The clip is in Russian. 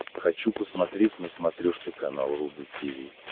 хочу посмотреть на смотрешке канал рубль ти ви